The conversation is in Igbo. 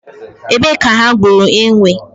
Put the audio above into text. Ebe ka ha gburu enwe?